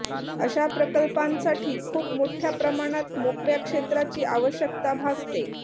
अशा प्रकल्पांसाठी खूप मोठ्या प्रमाणात मोकळ्या क्षेत्राची आवश्यकता भासते